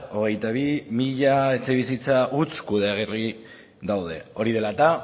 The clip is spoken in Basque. hogeita bi mila etxebizitza huts kudeagarri daude hori dela eta